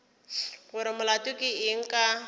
gore molato ke eng ka